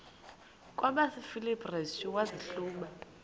kwabasefilipi restu wazihluba